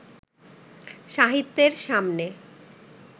সাহিত্যের সামনে